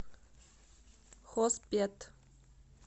хоспет